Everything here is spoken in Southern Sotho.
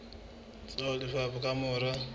tsa ho lefa ka mora